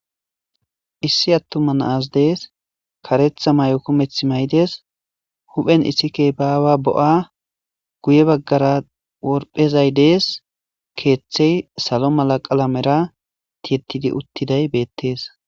issi attuma naas dees karetha may7o kumeth may7dees huphen issikkey baawa bo7a guye baggara worphezay dees keeththey salo mala qalamera tiyettidi uttiday beettees.